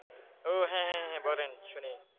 ও হ্যাঁ হ্যাঁ হ্যাঁ বলেন শুনি,